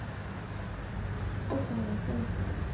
Þyrnar rósanna stinga.